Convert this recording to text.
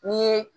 N'i ye